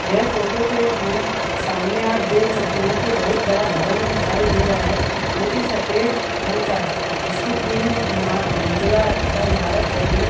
यह फोटो के में सामने आप देख सकते है की एक बहुत बड़ा भवन दिखाई दे रहा है जो की सफ़ेद रंग का है इसकी तीन म मज़िला का ईमारत है ये --